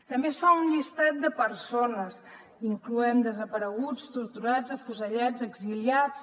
també es fa un llistat de persones incloent hi desapareguts torturats afusellats exiliats